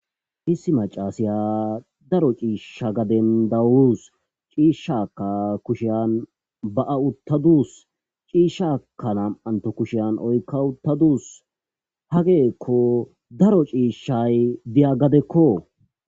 Issi macashiya daro cisha gaden dawusu cishaka kushan ba'a utadusu cishaka nam'anto kushan oyka utadus hagryko daro cishay diza gadekko